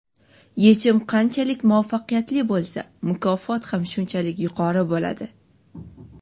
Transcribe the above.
Yechim qanchalik muvaffaqiyatli bo‘lsa, mukofot ham shunchalik yuqori bo‘ladi.